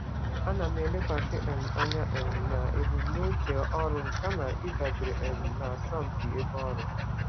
Ana m elekwasị anya na ebumnuche ọrụ m kama ịdabara n'asọmpi ebe ọrụ.